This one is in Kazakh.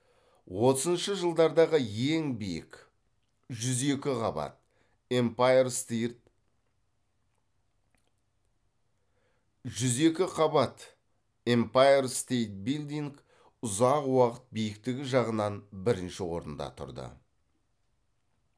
отызыншы жылдардағы ең биік жүз екі қабат эмпайр стейрт жүз екі қабат эмпайр стейт билдинг ұзақ уақыт биіктігі жағынан бірінші орында тұрды